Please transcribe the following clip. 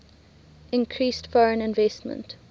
increased foreign investment